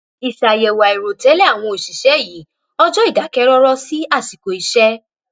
iṣàyẹ̀wò àìrò tẹ́lẹ̀ àwọn òṣìṣẹ́ yí ọjọ́ ìdákẹ́rọ́rọ́ sí àsìkò iṣẹ́